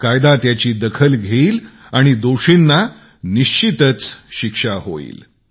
कायदा त्याची दखल घेईल आणि दोषींना सजा निश्चित देईल